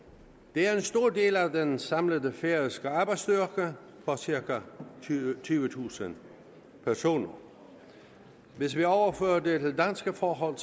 det er en stor del af den samlede færøske arbejdsstyrke på cirka tyvetusind personer hvis vi overfører det til danske forhold